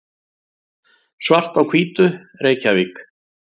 Svart á hvítu, Reykjavík.